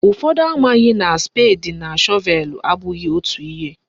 Ụfọdụ amaghị na spedi na shọvelu abụghị otu ihe